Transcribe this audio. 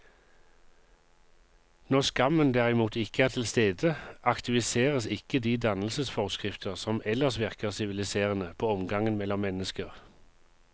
Når skammen derimot ikke er til stede, aktiveres ikke de dannelsesforskrifter som ellers virker siviliserende på omgangen mellom mennesker.